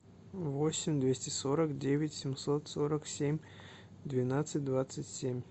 восемь двести сорок девять семьсот сорок семь двенадцать двадцать семь